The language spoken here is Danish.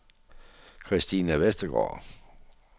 Kristina Vestergaard